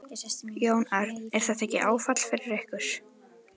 Jón Örn: Er þetta ekki áfall fyrir ykkur?